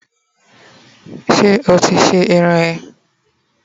se oti se irun eee?